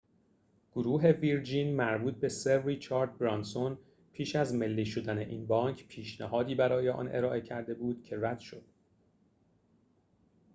گروه ویرجین مربوط به سر ریچارد برانسون پیش از ملی شدن این بانک پیشنهادی برای آن ارائه کرده بود که رد شد